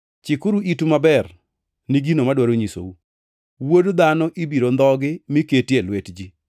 “Chikuru itu maber ni gino madwaro nyisou: Wuod Dhano ibiro ndhogi mi keti e lwet ji.”